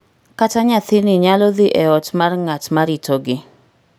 Kata nyathini nyalo dhi e ot mar ng�at ma ritogi.